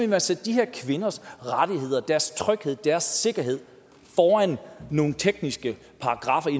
man sætte de her kvinders rettigheder deres tryghed deres sikkerhed foran nogle tekniske paragraffer i